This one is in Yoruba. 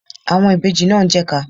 Àwọn ìbejì náà ń jẹ́ ìka.